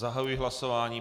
Zahajuji hlasování.